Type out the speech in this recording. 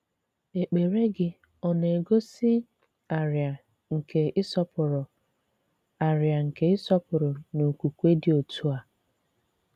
Èkpèrè gị̀ ọ na-egosi àrịà nke ị̀sọpụrụ̀ àrịà nke ị̀sọpụrụ̀ na okwùkwè dị otu a?